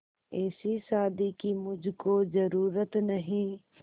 ऐसी शादी की मुझको जरूरत नहीं